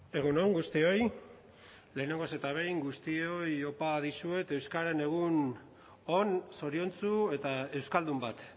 egun on guztioi lehenengoz eta behin guztioi opa dizuet euskararen egun on zoriontsu eta euskaldun bat